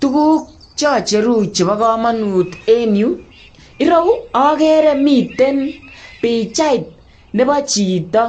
Tuguk chocheru chebo komonut en yu, ireu okere miten pichait nebo chito,